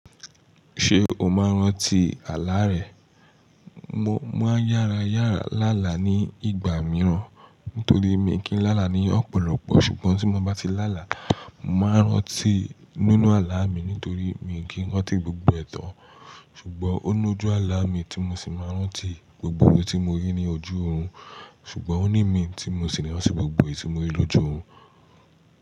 Ṣé o máa ń rántí àlá rẹ? Mo máa ń yára yára lá là ní ìgbà mìíràn nítorí mi kì í lá là ní ọ̀pọ̀lọpọ̀. Ṣùgbọ́n tí mo bá ti lá là, màá rántí nínú àlá mi nítorí mi kì í rántí gbogbo ẹ̀tọ́. Ṣùgbọ́n ó ní ojú àlá mi tí mo sì máa ń rántí gbogbo ohun tí mo rí ní ojú òrun. Ṣùgbọ́n ó ní mi tí mo sì máa ń rántí gbogbo ohun tí mo rí lójú òrun.